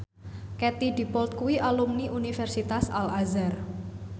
Katie Dippold kuwi alumni Universitas Al Azhar